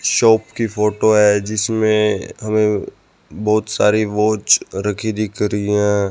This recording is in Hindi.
शॉप की फोटो है जिसमें हमें बहोत सारे वॉच रखी दिख रही है।